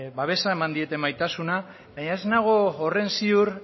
babesa eman diete maitasuna baina ez nago horren ziur